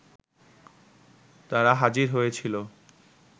তারা হাজির হয়েছিল